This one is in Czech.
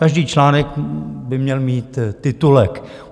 Každý článek by měl mít titulek.